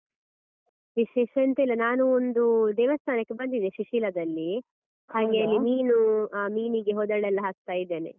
ವಿಶೇಷ ಎಂತ ಇಲ್ಲ ನಾನು ಒಂದು ದೇವಸ್ತಾನಕ್ಕೆ ಬಂದಿದ್ದೇ ಸುಶೀಲದಲ್ಲಿ ಹಾಗೆ ಅಲ್ಲಿ ಮೀನು ಮೀನಿಗೆ ಹೋದಳೆಲ್ಲ ಹಾಕ್ತಾ ಇದ್ದೇನೆ.